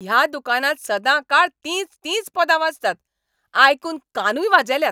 ह्या दुकानांत सदांकाळ तींच तींच पदां वाजतात, आयकून कानूय वाजेल्यात.